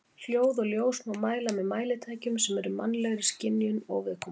Hljóð og ljós má mæla með mælitækjum sem eru mannlegri skynjun óviðkomandi.